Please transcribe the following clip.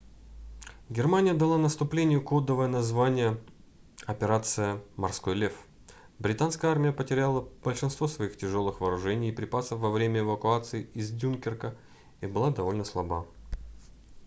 германия дала наступлению кодовое название операция морской лев британская армия потеряла большинство своих тяжелых вооружений и припасов во время эвакуации из дюнкерка и была довольно слаба